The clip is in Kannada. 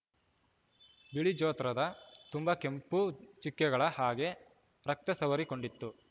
ಬಿಳಿ ಜೋತ್ರದ ತುಂಬಾ ಕೆಂಪು ಚಿಕ್ಕೆಗಳ ಹಾಗೆ ರಕ್ತ ಸವರಿಕೊಂಡಿತ್ತು